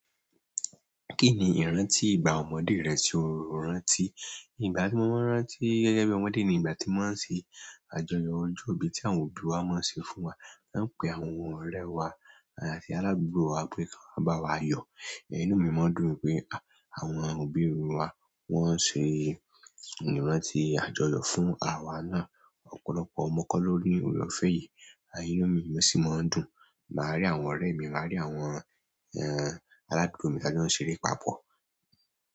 Kíni ìrántí ìgbà ọmọdé rẹ tí o rántí? Ìgbà tí mo máa ń rántí gẹ́gẹ́ bí ọmọdé ni ìgbà tí wọ́n máa ń ṣe àjọyọ̀ ọjọ́ ìbí tí àwọn òbí wa máa ń ṣe fún wa. A máa pè àwọn ọ̀rẹ́ wa àti aládugbo wa pé kan wa bá wa yọ. Inú mi máa ń dùn pé àwọn òbí wa wọ́n ṣe ìrántí àjọyọ̀ fún awa náà. Ọ̀pọ̀lọpọ̀ ọmọ kọ́ loni oore-ọ̀fẹ́ yìí, inú mi sì máa ń dùn. Màá rí àwọn ọ̀rẹ́ mi, màá rí àwọn, ẹ́, aládugbo mi tí a jọ n ṣeré papọ̀.